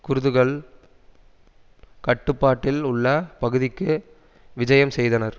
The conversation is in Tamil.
குர்துகள் கட்டுப்பாட்டில் உள்ள பகுதிக்கு விஜயம் செய்தனர்